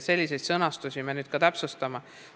Selliseid sõnastusi me nüüd täpsustamegi.